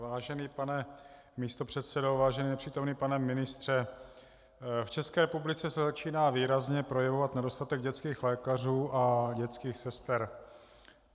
Vážený pane místopředsedo, vážený nepřítomný pane ministře, v České republice se začíná výrazně projevovat nedostatek dětských lékařů a dětských sester.